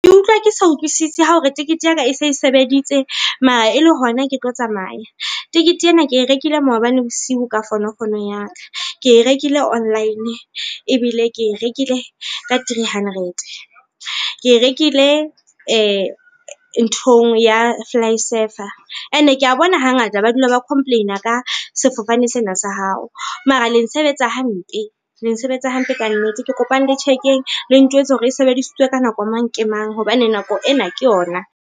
Ke utlwa ke sa utlwisise hore tekete ya ka e se e sebeditse mara e le hona ke tlo tsamaya. Tikete ena ke e rekile maobane bosiu ka fonofono ya ka, ke e rekile online ebile ke e rekile ka three hundred. Ke rekile nthong ya FlySafair and ke ya bona hangata ba dula ba complain-a ka sefofane sena sa hao. Mara le nsebetsa hampe, le nsebetsa hampe ka nnete. Ke kopang le check-eng le ntjwetsa hore e sebedisitswe ka nako mang, ke mang hobane nako ena ke yona.